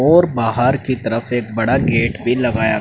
और बाहर की तरफ एक बड़ा गेट भी लगाया--